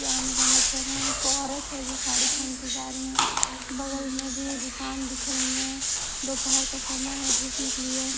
ये आने जाने कर रहे हैं एक औरत है जो साड़ी पहन के जा रही है बगल में भी दुकान दिख रही है दोपहर का समय है धूप निकली है।